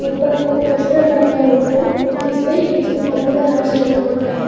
ऊपर में एक पोस्टर लगाया हुआ है जिसपे इंग्लिश में पॉपुलर हाऊस लिखा हुआ है।